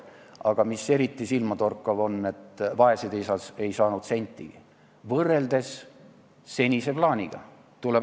Aga eriti silmatorkav on, et vaesed ei saanud sentigi, võrreldes senise plaaniga.